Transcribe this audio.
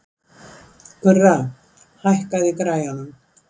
Gurra, hækkaðu í græjunum.